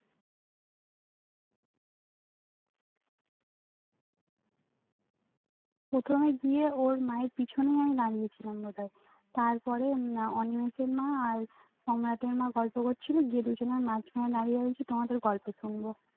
প্রথমে গিয়েই ওর মায়ের পেছনেই আমি দাঁড়িয়তে ছিলাম বোধয় তার পরে অনিমেষের মা আর সম্রাটের মা গল্প করছিলো গিয়ে দুজনার মাঝখানে দাঁড়িয়ে রয়েছি তোমাদের গল্প শুনবো